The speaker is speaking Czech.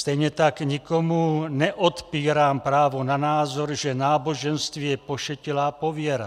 Stejně tak nikomu neodpírám právo na názor, že náboženství je pošetilá pověra.